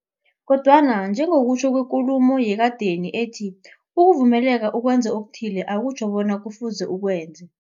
Kodwana njengokutjho kwekulumo yekadeni ethi, ukuvumeleka ukwenza okuthile, akutjho bonyana kufuze ukwenze.